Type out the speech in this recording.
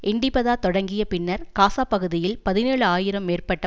இண்டிபதா தொடங்கிய பின்னர் காசா பகுதியில் பதினேழு ஆயிரம் மேற்பட்ட